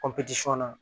na